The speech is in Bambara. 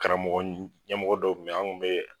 Karamɔgɔ ɲɛmɔgɔ dɔw kun bɛ ye an kun bɛ